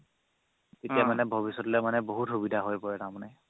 তেতিয়া মানে ভৱিষ্যতেলে বহুত সুবিধা হয় পৰে তাৰমানে